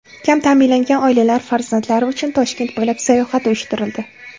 Kam ta’minlangan oilalar farzandlari uchun Toshkent bo‘ylab sayohat uyushtirildi.